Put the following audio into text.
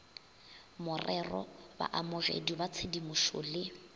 morero baamogedi ba tshedimošo le